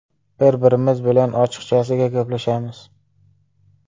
Bir-birimiz bilan ochiqchasiga gaplashamiz.